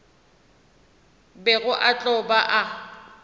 bego a tlo ba a